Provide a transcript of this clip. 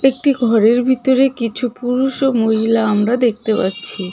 একটি ঘরের ভিতরে কিছু পুরুষ ও মহিলা আমরা দেখতে পাচ্ছি.